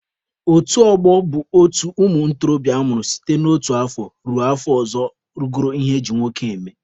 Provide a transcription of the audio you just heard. Otu ọgbọ bụ otu ụmụ ntorobịa amụrụ site n'otu afọ ruo afọ ọzọ rugoro ihe eji nwoke eme.